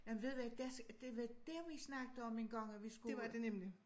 Jamen ved du hvad das det var der vi snakkede om engang at vi skulle ud